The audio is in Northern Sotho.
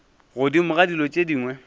godimo ga dilo tše dingwe